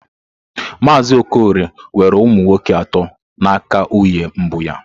Mazị Okorie nwere ụmụ nwoke atọ na aka nwunye mbụ ya.